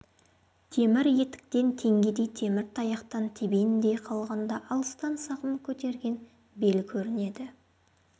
темір етіктен теңгедей темір таяқтан тебендей қалғанда алыстан сағым көтерген бел көрінеді